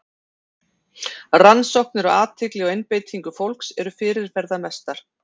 Rannsóknir á athygli og einbeitingu fólks eru fyrirferðamestar.